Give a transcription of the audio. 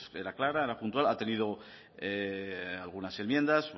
pues era clara era puntual ha tenido algunas enmiendas